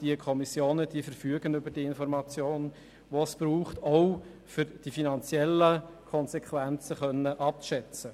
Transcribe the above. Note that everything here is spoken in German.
Diese Kommissionen verfügen über die Informationen, die sie benötigen, auch um die finanziellen Konsequenzen abzuschätzen.